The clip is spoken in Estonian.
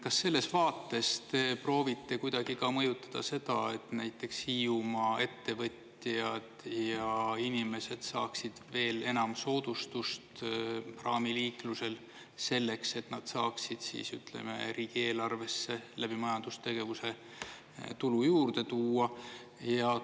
Kas selles vaates te proovite kuidagi mõjutada seda, et näiteks Hiiumaa ettevõtjad ja inimesed saaksid veel enam soodustust praamiliiklusel selleks, et nad saaksid siis riigieelarvesse läbi majandustegevuse tulu juurde tuua?